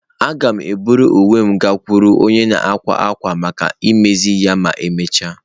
Aga m eburu uwe m gakwuru onye na-akwa akwa maka imezi ya ma emechaa.